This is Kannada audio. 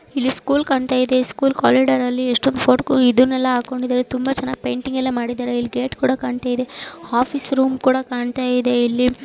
ಇಲ್ಲಿ ಸ್ಕೂಲ್ ಕಾಂಣ್ತಾ ಇದೆ ಸ್ಕೂಲ್ ಕಾರಿಡೊರ ಲ್ಲಿ ಎಷ್ಟೊಂದು ಫೊಟೊ ಇದನೆಲ್ಲ ಹಾಕೊಂಡಿದ್ದಾರೆ ತುಂಬಾ ಚೆನ್ನಾಗಿ ಪೈಂಟಿಂಗೆ ಲ್ಲಾ ಮಾಡಿದ್ದಾರೆ ಇಲ್ಲಿ ಗೆಟ್ ಕೂಡ‌ ಕಾಣ್ತಾಯಿದೆ ಆಫಿಸ್‌ ರೂಮ್‌ ಕುಡ ಕಾಣ್ತಾ ಇದೆ ಇಲ್ಲಿ .